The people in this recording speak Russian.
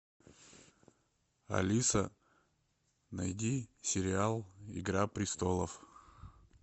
алиса найди сериал игра престолов